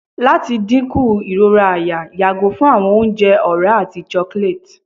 lati dinku irora àyà yago fun awọn ounjẹ ọra ati chocolate